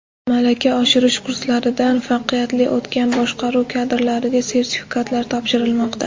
Malaka oshirish kurslaridan muvaffaqiyatli o‘tgan boshqaruv kadrlariga sertifikatlar topshirilmoqda.